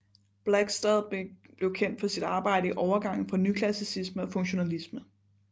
Blakstad blev kendt for sit arbejde i overgangen fra nyklassicisme og funktionalisme